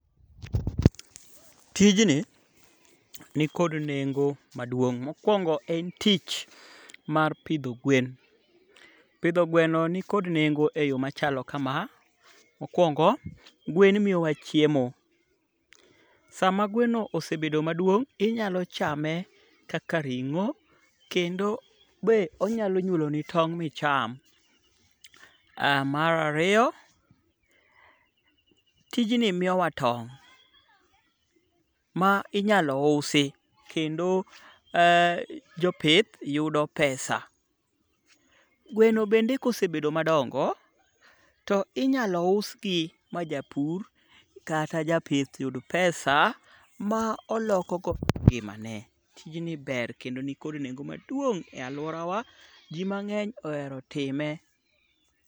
Tijni nikod nengo maduong'. Mokwongo en tich mar pidho gwen. Pidho gweno ni kod nengo e yo machalo kama; Mokwongo, gwen miyowa chiemo. Sama gweno osebedo madwong' inyalo chame kaka ring'o. Kendo be onyalo nyuoloni tong' micham. Mar ariyoi, tijni miyowa tong' ma inyalo usi. Kendo jopith yudo pesa. Gweno bende kosebedo madongo to inyalo us gi ma japur kata japith yud pesa ma olokogo ngimane. Tijni ber kedo ni kod nengo maduong' e aluora wa. Ji mang'eny ohero time.